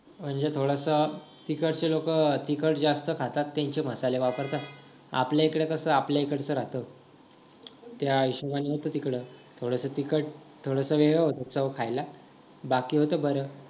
म्हणजे तिथं थोडसं तिकडची लोक तिखट जास्त खातात त्यांची मसाले जास्त वापरतात आपल्याकडे कस आपल्या इकडचं राहतं त्या हिशोबाने नव्हतं तिकडं थोडसा तिखट थोडसा वेगळ होत चव खायला बाकी होतं बरं